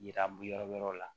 Yira yɔrɔ wɛrɛ la